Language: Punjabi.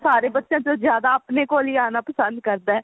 ਸਾਰੇ ਬੱਚਿਆ ਚੋਂ ਜਿਆਦਾ ਆਪਣੇ ਕੋਲ ਹੀ ਆਉਣਾ ਪੰਸਦ ਕਰਦਾ